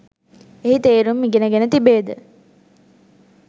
එහි තේරුම් ඉගෙන ගෙන තිබේද?